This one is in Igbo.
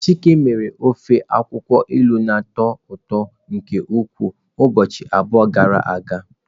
Chike mere. Ofe akwukwo ilu na-atọ ụtọ nke ukwuu ụbọchị abụọ gara aga.